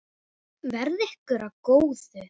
Verði ykkur að góðu.